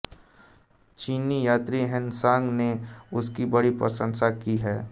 चीनी यात्री ह्वेनसांग ने उसकी बड़ी प्रशंसा की है